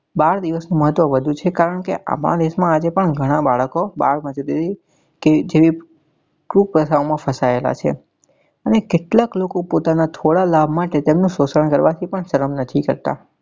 બાળ દિવસ માં તો વધુ છે કારણ કે આપણા દેશ માં આજે પણ ગણા બાળકો બાળ મજુરી કે જેવી કુ પ્રથા માં ફસાયેલા છે અને કેટલાક લોકો પોતાના થોડા લાભ માટે તેમનું શોષણ કરવા થી પણ સરમ નથી કરતા.